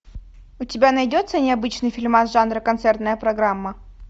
у тебя найдется необычный фильмас жанра концертная программа